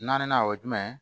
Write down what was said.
Naaninan o ye jumɛn ye